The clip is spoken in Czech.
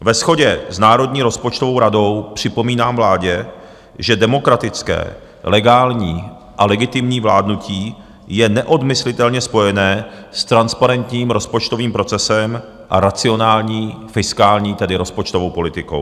Ve shodě s Národní rozpočtovou radou připomínám vládě, že demokratické, legální a legitimní vládnutí je neodmyslitelně spojené s transparentním rozpočtovým procesem a racionální fiskální, tedy rozpočtovou politikou.